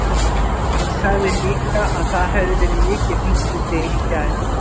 Hún sagði líka að það hefði verið mikið hringt í þig í gær.